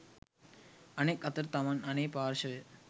අනෙක් අතට තමන් අනේ පාර්ශවය